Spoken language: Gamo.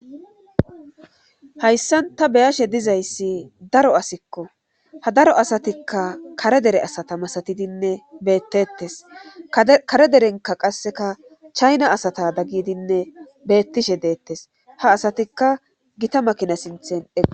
hayssan ta beyashe dizayssi daro asikko ha daro asatikka kare dere asata masatidinne beettettes kare derenka qasseka chayna asata daggidinne beettishe deettes ha asatikka gita makina sinthen ega